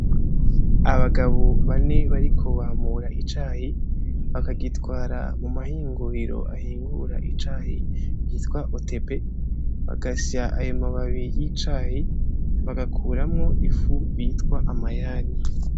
Abagabo bane bariko bamura icayi bakagitwara muma hinguriro ahingura icayi bitwa OTB bagasya ayo mababi y'icayi bagakuramwo ifu bitwa amayani.